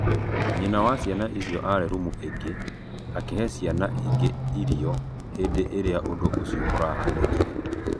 Nyĩna wa cĩana ĩcĩo ararĩ rũmũ ĩngĩ, akĩhe cĩana ĩngĩ ĩrĩo hĩndĩ ĩrĩa ũndũ ũcĩo ũrekĩkire